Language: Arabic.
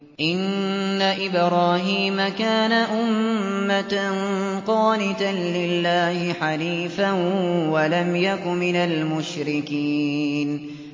إِنَّ إِبْرَاهِيمَ كَانَ أُمَّةً قَانِتًا لِّلَّهِ حَنِيفًا وَلَمْ يَكُ مِنَ الْمُشْرِكِينَ